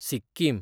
Sikkim